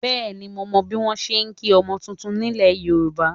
Bẹ́ẹ̀ni mo mọ bí wọ́n ṣe ń kí ọmọ titun nílẹ̀ Yorùbá